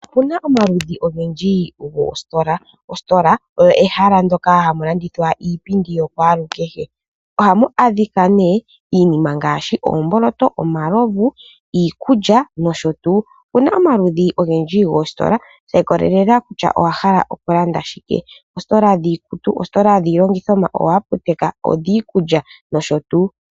Opuna omaludhi ogendji goositola. Ositola oyo ehala moka hamu landithwa iipindi yokwaalukehe. Ohamu adhika nee iinima ngaashi oomboloto, omaluvu ,iikulya nosho tuu . Opuna omaludhi ogendji goositola shi ikolelela kutya owahala okulanda shike oositola dhiikutu, oositola dhiilandithomwa, oohaputeka ,odhiikulya nosho tuu.